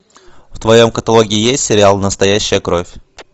в твоем каталоге есть сериал настоящая кровь